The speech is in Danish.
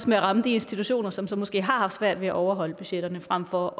med at ramme de institutioner som så måske har haft svært ved at overholde budgetterne frem for